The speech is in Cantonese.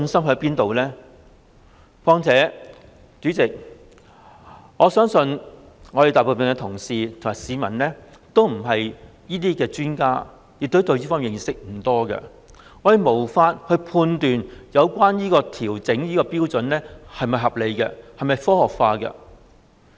況且，代理主席，我相信大部分同事及市民都不是這方面的專家，對此認識不多，我們無法判斷有關標準的調整是否合理和科學化。